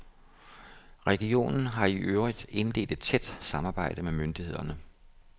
Regionen har i øvrigt indledt et tæt samarbejde med myndighederne.